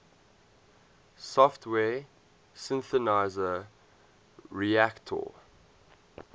software synthesizer reaktor